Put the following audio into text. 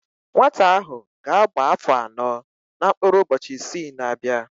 Nwata ahụ ga-agba áfọ̀ anọ na mkpụrụ ụbọchị isii na-abịa